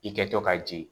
I kɛtɔ ka jigin